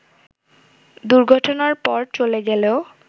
দুর্ঘটনার পর চলে গেলেও